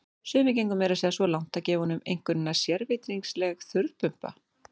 Sumir gengu meira að segja svo langt að gefa honum einkunnina sérvitringsleg þurrpumpa.